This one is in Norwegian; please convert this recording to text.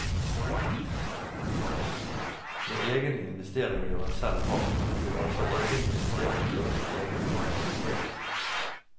Når egen investering gjør en selv hard, vil altså egen investering føre til egen aggressivitet.